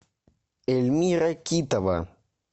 эльмира китова